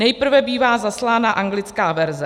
Nejprve bývá zaslána anglická verze.